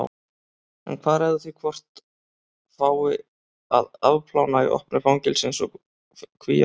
En hvað ræður því hvort fái að afplána í opnu fangelsi eins og Kvíabryggju?